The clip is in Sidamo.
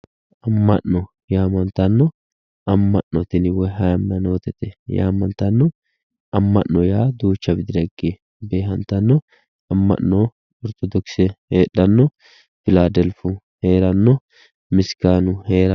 Ama'no yaamantano, ama'no tini woyi hayimanote yaamantano ama'no yaa duuchu ragira higge beehantano ama'no orthodhokise heedhano ,filadelfu heerano misganu heerano.